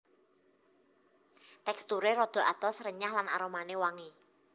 Teksturé rada atos renyah lan aromané wangi